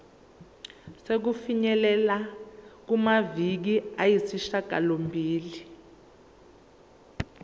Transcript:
sokufinyelela kumaviki ayisishagalombili